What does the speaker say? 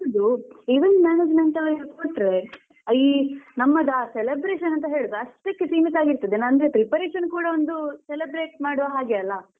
ನನ್ಗೆ ಅನಿಸುದು event management ಅವ್ರಿಗೆ ಕೊಟ್ರೆ ಈ ನಮ್ಮದು ಆ celebration ಅಂತ ಹೇಳುದು ಅಷ್ಟಕ್ಕೇ ಸೀಮಿತವಾಗಿರ್ತದೆ ಅಂದ್ರೆ preparation ಕೂಡ ಒಂದು celebrate ಮಾಡುವ ಹಾಗೆ ಅಲ್ಲ.